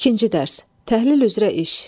İkinci dərs, təhlil üzrə iş.